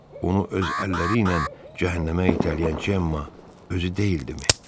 Onu öz əlləri ilə cəhənnəmə itələyən Cemma özü deyildimi?